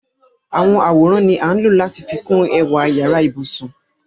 Àwọn àworan ni a ńlọ̀ lati fikun ẹ̀wà yara-íbusun.